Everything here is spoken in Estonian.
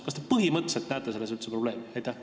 Kas te põhimõtteliselt näete selles üldse probleemi?